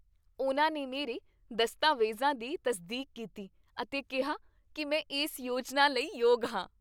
ਉਨ੍ਹਾਂ ਨੇ ਮੇਰੇ ਦਸਤਾਵੇਜ਼ਾਂ ਦੀ ਤਸਦੀਕ ਕੀਤੀ ਅਤੇ ਕਿਹਾ ਕੀ ਮੈਂ ਇਸ ਯੋਜਨਾ ਲਈ ਯੋਗ ਹਾਂ।